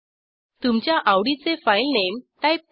तुमच्या आवडीचे file name type करा